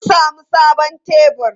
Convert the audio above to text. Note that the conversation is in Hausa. Sun sami sabon tebur.